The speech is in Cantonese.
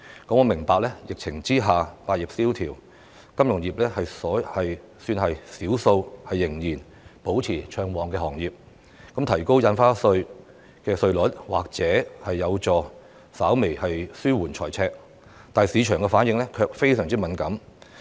我明白，疫情下百業蕭條，金融業是少數仍然保持暢旺的行業，因此提高印花稅稅率或有助稍微紓緩財赤，但市場反應卻非常敏感。